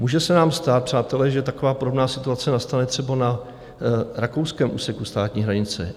Může se nám stát, přátelé, že taková podobná situace nastane třeba na rakouském úseku státní hranice.